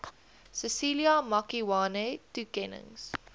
cecilia makiwane toekennings